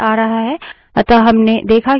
अतः हमने देखा कि standard input को कैसे redirect करते हैं